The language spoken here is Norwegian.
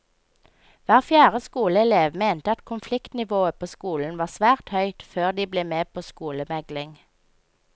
Hver fjerde skoleelev mente at konfliktnivået på skolen var svært høyt før de ble med på skolemegling.